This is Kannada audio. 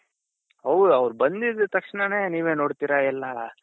ಹೌದ್ ಅವರ್ ಬಂದಿದ್ ತಕ್ಷಣಾನೆ ನೀವೇ ನೋಡ್ತಿರ ಎಲ್ಲಾ